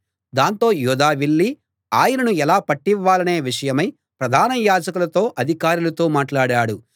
దాంతో యూదా వెళ్ళి ఆయనను ఎలా పట్టివ్వాలనే విషయమై ప్రధాన యాజకులతో అధికారులతో మాట్లాడాడు